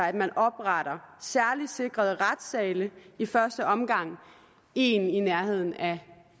at man opretter særligt sikrede retssale i første omgang en i nærheden af